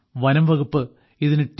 വനം വകുപ്പ് ഇതിന് ടി